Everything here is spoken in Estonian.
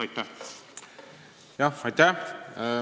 Aitäh!